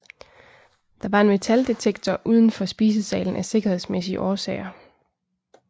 Der var en metaldetektor uden for spisesalen af sikkerhedsmæssige årsager